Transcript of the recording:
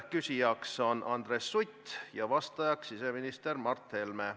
Küsija on Andres Sutt ja vastaja siseminister Mart Helme.